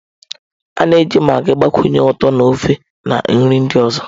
A na-eji magịị gbakwunye ụtọ na ofe, na nri ndị ọzọ.